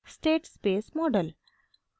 state space model: